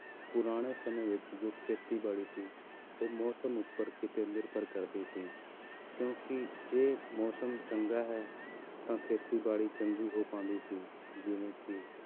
ਪੁਰਾਣੇ ਸਮੇਂ ਵਿੱਚ ਜੋ ਖੇਤੀਬਾੜੀ ਸੀ ਉਹ ਮੌਸਮ ਉੱਪਰ ਕਿਤੇ ਨਿਰਭਰ ਕਰਦੀ ਸੀ ਕਿਉਂਕਿ ਜੇ ਮੌਸਮ ਚੰਗਾ ਹੈ ਤਾਂ ਖੇਤੀਬਾੜੀ ਚੰਗੀ ਹੋ ਪਾਉਂਦੀ ਸੀ ਜਿਵੇਂ ਕਿ